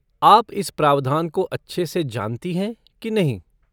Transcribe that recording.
आप इस प्रावधान को अच्छे से जानती हैं कि नहीं?